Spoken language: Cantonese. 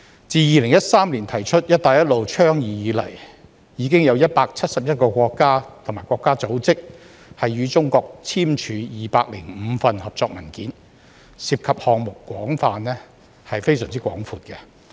自2013年提出"一帶一路"倡議以來，已有171個國家及國際組織與中國簽署205份合作文件，涉及項目範圍非常廣闊。